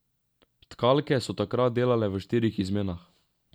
Tkalke so takrat delale v štirih izmenah.